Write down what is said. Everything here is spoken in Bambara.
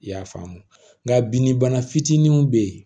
I y'a faamu nka binni bana fitininw bɛ yen